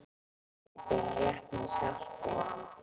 Gætirðu rétt mér saltið?